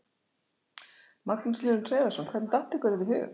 Magnús Hlynur Hreiðarsson: Hvernig datt ykkur þetta í hug?